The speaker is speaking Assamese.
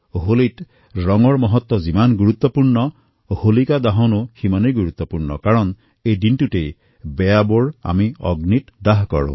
হোলীত ৰঙৰ যিমান মহত্ব সিমানেই হোলিকা দহনৰো মহত্ব আছে কাৰণ এই দিনটোতেই বেয়া শক্তিসমূহক অগ্নিত দহন কৰা হয়